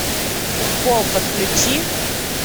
укол подключи